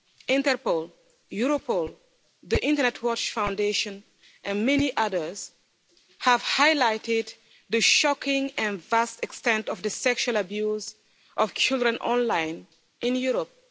Interpol, Europol, the Internet Watch Foundation and many others have highlighted the shocking and vast extent of the sexual abuse of children online in Europe.